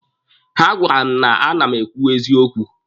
Ọ gwara m na a na-eme ekwu eziokwu.